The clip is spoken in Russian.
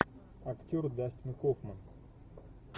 актер дастин хоффман